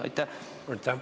Aitäh!